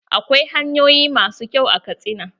Akwai hanyoyin ma su kyau a Katsina.